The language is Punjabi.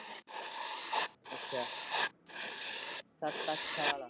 ਅੱਛਾ ਸਤ-ਅਠ ਸਾਲ?